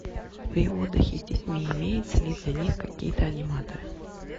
при отдыхе с детьми имеются ли для них какие то аниматоры